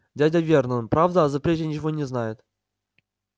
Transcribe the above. дядя вернон правда о запрете ничего не знает